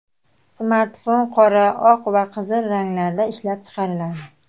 Smartfon qora, oq va qizil ranglarda ishlab chiqariladi.